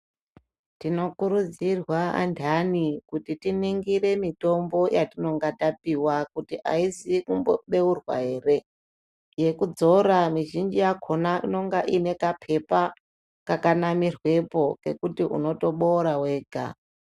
Tinokurudzirwa andani kuti tiningire mitombo yatinonga tapiwa kuti aizi kumbobeurwa ere , yekudzora mizhinji yakona inonga inekapepa kakanamirwepo kekuti unotoboora wega.